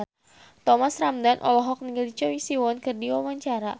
Thomas Ramdhan olohok ningali Choi Siwon keur diwawancara